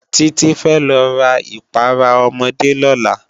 Titi fè lò rá ipàrá òmòdé lòlá